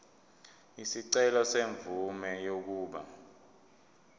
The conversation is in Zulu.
isicelo semvume yokuba